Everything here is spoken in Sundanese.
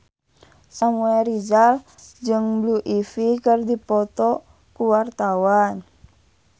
Samuel Rizal jeung Blue Ivy keur dipoto ku wartawan